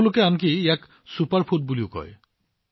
বহুলোকে ইয়াক super food বুলিও কয়